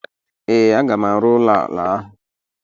Ee, a ga m arụ ụlọ ala ahụ.